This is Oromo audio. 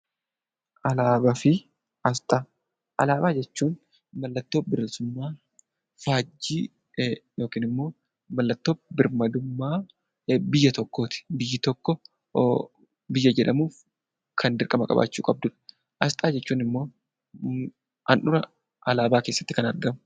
Alaabaa fi Asxaa Alaabaa jechuun mallattoo bilisummaa, faajjii yookiin immoo mallattoo birmadummaa biyya tokkoo ti. Biyyi tokko biyya jedhamuuf kan dirqama qabaachuu qabdu dha. Asxaa jechuun immoo handhuura alaabaa keessatti kan argamu.